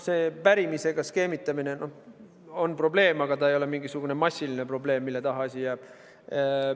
See pärimisega skeemitamine on probleem, aga see ei ole mingisugune massiline probleem, mille taha asi jääb.